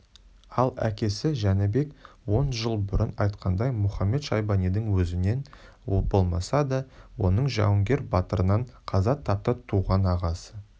ал әкесі жәнібек он жыл бұрын айтқанындай мұхамед-шайбанидың өзінен болмаса да оның жауынгер батырынан қаза тапты туған ағасы